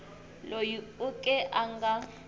loyi u ke a nga